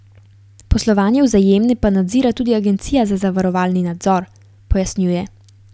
Poslovanje Vzajemne pa nadzira tudi Agencija za zavarovalni nadzor, pojasnjuje.